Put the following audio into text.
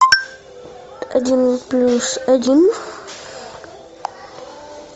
один плюс один